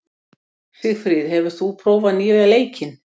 Sigfríð, hefur þú prófað nýja leikinn?